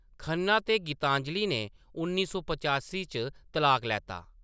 खन्ना ते गीतांजलि ने उन्नी सौ पचासी च तलाक लैता।